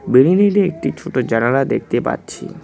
বিল্ডিংটিতে একটি ছোট জানালা দেখতে পাচ্ছি।